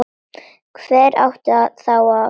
Hver átti þá að þvo?